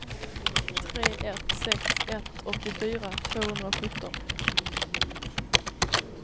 tre ett sex ett åttiofyra tvåhundrasjutton